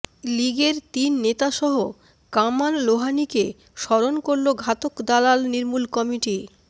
লীগের তিননেতাসহ কামাল লোহানীকে স্মরণ করলো ঘাতক দালাল নির্মূল কমিটি